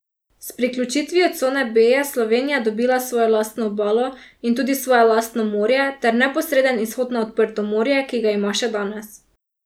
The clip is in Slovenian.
S priključitvijo cone B je Slovenija dobila svojo lastno obalo in tudi svoje lastno morje ter neposreden izhod na odprto morje, ki ga ima še danes.